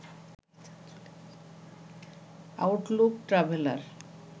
Outlook traveller